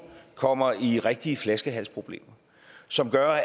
kommer ud i rigtige flaskehalsproblemer som gør